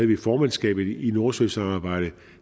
vi formandskabet i nordsøsamarbejdet